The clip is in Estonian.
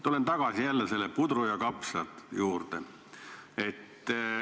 Tulen jälle tagasi selle pudru ja kapsaste juurde.